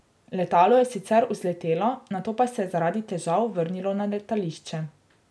Letalo je sicer vzletelo, nato pa se je zaradi težav vrnilo na letališče.